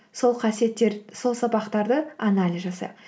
сол сабақтарды анализ жасайық